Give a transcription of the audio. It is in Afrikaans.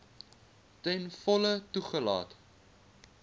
ten volle toegelaat